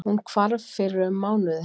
Hún hvarf fyrir um mánuði